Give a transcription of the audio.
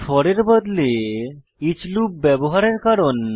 four এর বদলে each loop ব্যবহারের কারণ